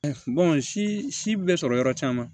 si si bɛ sɔrɔ yɔrɔ caman